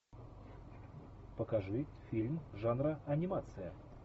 покажи фильм жанра анимация